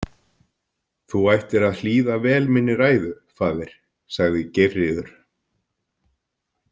Þú ættir að hlýða vel minni ræðu, faðir, sagði Geirríður.